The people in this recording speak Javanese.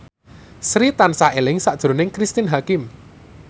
Sri tansah eling sakjroning Cristine Hakim